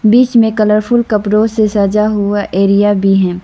बीच में कलरफुल कपड़ों से सजा हुआ एरिया भी है।